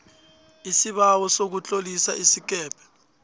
isibawo sokutlolisa isikebhe